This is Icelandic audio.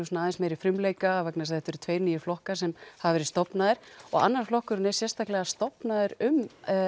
aðeins meiri frumleika vegna þess að þetta eru tveir flokkar sem hafa verið stofnaðir og annar flokkurinn er sérstaklega stofnaður um